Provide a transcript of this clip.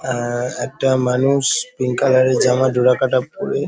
আহ একটা মানুষ পিঙ্ক কালারের জামা ডোরা কাটা পরে --